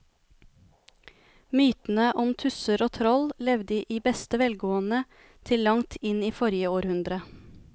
Mytene om tusser og troll levde i beste velgående til langt inn i forrige århundre.